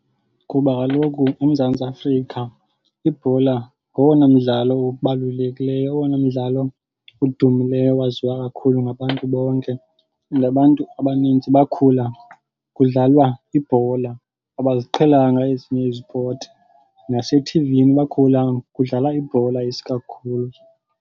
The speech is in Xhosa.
Kuba kaloku uMzantsi Afrika ibhola ngowona mdlalo ubalulekileyo, owona mdlalo udumileyo waziwa kakhulu ngabantu bonke. Nabantu abaninzi bakhula kudlalwa ibhola. Abaziqhelanga ezinye izipoti. Nasethivini bakhula kudlala ibhola isikakhulu.